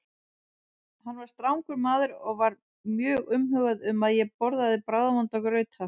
Hann var strangur maður og var mjög umhugað um að ég borðaði bragðvonda grauta.